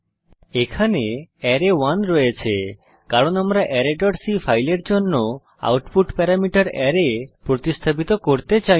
এখানে আরায়1 রয়েছে কারণ আমরা arrayসি ফাইলের জন্য আউটপুট প্যারামিটার আরায় প্রতিস্থাপিত করতে চাই না